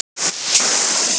Gullfiskar eru alætur.